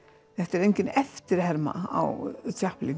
þetta er engin eftirherma á